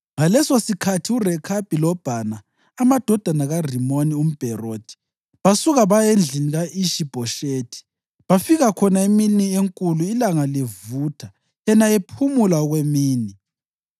Ngalesosikhathi uRekhabi loBhana, amadodana kaRimoni umBherothi, basuka baya endlini ka-Ishi-Bhoshethi, bafika khona emini enkulu ilanga livutha yena ephumula okwemini.